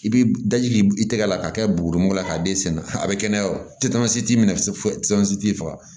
I bi daji i tɛgɛ la k'a kɛ buguni bɔ k'a d'e sen na a be kɛnɛya wa titansi t'i minɛ fo tetansi t'i faga